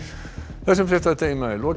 þessum fréttatíma er lokið